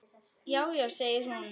Já, já segir hún.